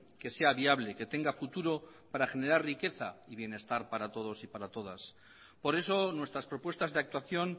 que sea viable que tenga futuro para generar riqueza y bienestar para todos y para todas por eso nuestras propuestas de actuación